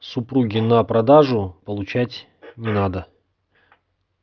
супруге на продажу получать не надо